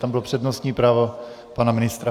Tam bylo přednostní právo pana ministra.